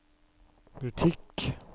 butikk